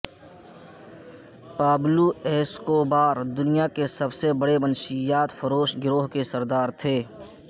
Pablo Escobar دنیا کے سب سے بڑے منشیات فروش گروہ کے سردار تھے